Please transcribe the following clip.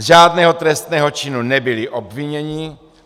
Z žádného trestného činu nebyli obviněni.